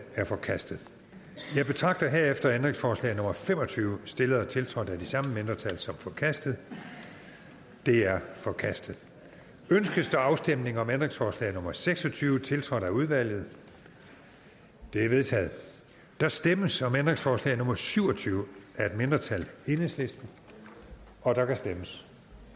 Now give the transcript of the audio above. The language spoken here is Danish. er forkastet jeg betragter herefter ændringsforslag nummer fem og tyve stillet og tiltrådt af de samme mindretal som forkastet det er forkastet ønskes der afstemning om ændringsforslag nummer seks og tyve tiltrådt af udvalget det er vedtaget der stemmes om ændringsforslag nummer syv og tyve af et mindretal og der kan stemmes